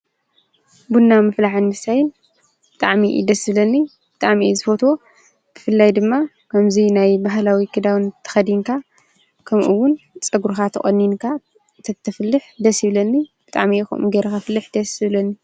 ብና ምፍላሕ ምሳታይን ብጥዕሚኢ ደስብለኒ ብጣኣሚኢ ዝፈትዎ ክፍልላይ ድማ ከምዙይ ናይ ባህላዊ ክዳውን ተኸዲንካ ከምኡውን ጸጕሩኻ ተቖኒንካ እተትፍልሕ ደስ ይብለኒ ብጥዕሚኢኹም ጌይረ ኸፍልሕ ደስብለኒ።